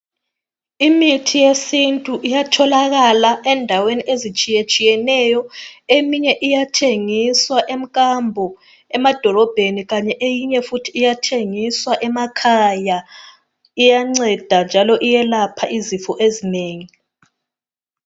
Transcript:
Imithi yesintu iyatholakala endaweni ezitshiyeneyo. Eminye iyathengiswa emkambo emadolobheni kanye eyinye futhi iyathengiswa emakhaya .Iyanceda njalo iyelapha izifo ezinengi.